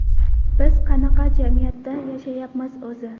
Biz qanaqa jamiyatda yashayapmiz o‘zi?